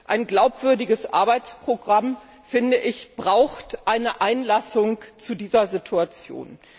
Ein glaubwürdiges Arbeitsprogramm braucht eine Einlassung zu dieser Situation.